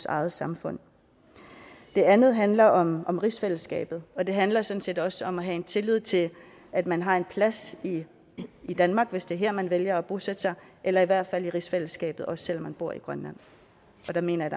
eget samfund det andet handler om om rigsfællesskabet og det handler sådan set også om at have en tillid til at man har en plads i danmark hvis det er her man vælger at bosætte sig eller i hvert fald i rigsfællesskabet også selv om man bor i grønland og der mener jeg